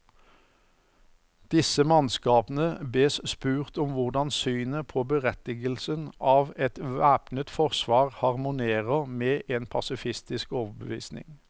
Disse mannskapene bes spurt om hvordan synet på berettigelsen av et væpnet forsvar harmonerer med en pasifistisk overbevisning.